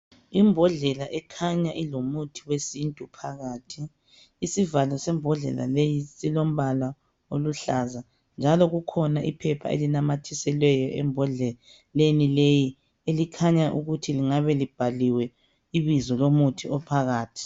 Imbodlela ekhanya ilomuthi wesintu phakathi, isivalo sembodlela leyi silombala oluhlaza, njalo kukhona iphepha elinamathiselweyo embhodleleni leyi elikhanya ukuthi lingabe libhaliwe ibizo lomuthi ophakathi.